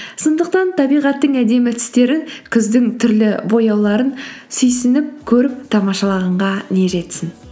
сондықтан табиғаттың әдемі түстерін күздің түрлі бояуларын сүйсініп көріп тамашалғанға не жетсін